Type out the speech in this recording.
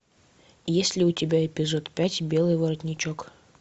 есть ли у тебя эпизод пять белый воротничок